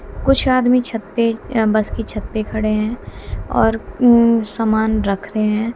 कुछ आदमी छत पे बस की छत खड़े हैं और ऊं सामान रख रहे है।